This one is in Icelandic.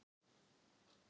Gerðu það fyrir mig.